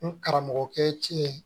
N karamɔgɔkɛ cɛ ye